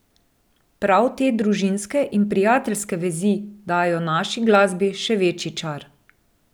Prav te družinske in prijateljske vezi dajo naši glasbi še večji čar.